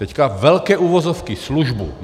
Teď velké uvozovky službu.